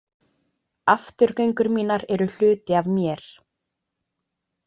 Afturgöngur mínar eru hluti af mér.